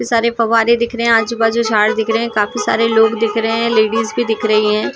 सारे फव्वारे दिख रहे हैं आजु बाजू झाड़ दिख रहे हैं काफी सारे लोग दिख रहे हैं लेडीज भी दिख रही हैं।